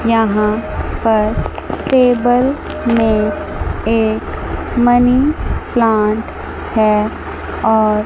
यहां पर टेबल में एक मनी प्लांट है और--